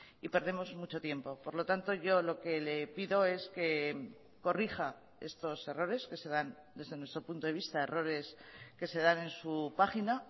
y perdemos mucho tiempo por lo tanto yo lo que le pido es que corrija estos errores que se dan desde nuestro punto de vista errores que se dan en su página